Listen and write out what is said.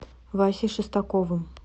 васей шестаковым